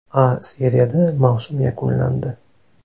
A seriyada mavsum yakunlandi.